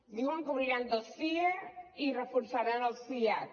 diuen que obriran dos sie i reforçaran els siad